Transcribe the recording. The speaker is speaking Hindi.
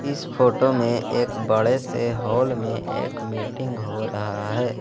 इस फोटो में एक बड़े से हॉल में एक मीटिंग हो रहा है।